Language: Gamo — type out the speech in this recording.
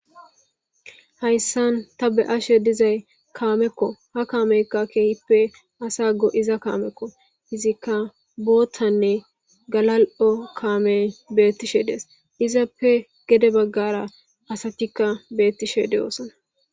Hayssan ta be ashe dizay kaamekko ha kaameykka keehippe asa go7iza kaamekko izikka boottanne galal7o kaamey beettishe dees izappe gede baggara asatikka beettishe de7oosana.